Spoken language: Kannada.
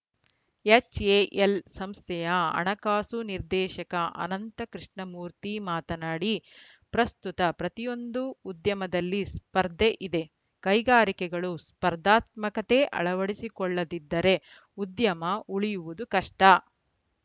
ಎಚ್‌ಎಎಲ್‌ ಸಂಸ್ಥೆಯ ಹಣಕಾಸು ನಿರ್ದೇಶಕ ಅನಂತ ಕೃಷ್ಣಮೂರ್ತಿ ಮಾತನಾಡಿ ಪ್ರಸ್ತುತ ಪ್ರತಿಯೊಂದು ಉದ್ಯಮದಲ್ಲಿ ಸ್ಪರ್ಧೆ ಇದೆ ಕೈಗಾರಿಕೆಗಳು ಸ್ಪರ್ಧಾತ್ಮಕತೆ ಅಳವಡಿಸಿಕೊಳ್ಳದಿದ್ದರೆ ಉದ್ಯಮ ಉಳಿಯುವುದು ಕಷ್ಟ